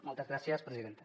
moltes gràcies presidenta